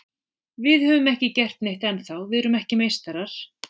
Við höfum ekki gert neitt ennþá, við erum ekki meistarar.